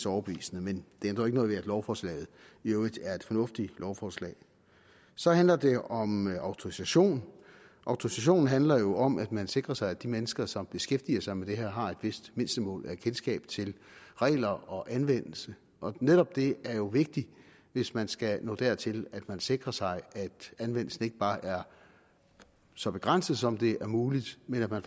overbevisende men det ændrer ikke noget ved at lovforslaget i øvrigt er et fornuftigt lovforslag så handler det om autorisation autorisation handler jo om at man sikrer sig at de mennesker som beskæftiger sig med det her har et vist mindstemål af kendskab til regler og anvendelse og netop det er jo vigtigt hvis man skal nå dertil at man sikrer sig at anvendelsen ikke bare er så begrænset som det er muligt men at man